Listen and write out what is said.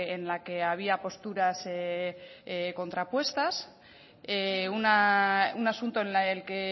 en la que había posturas contrapuestas un asunto en el que